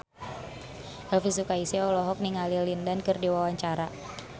Elvi Sukaesih olohok ningali Lin Dan keur diwawancara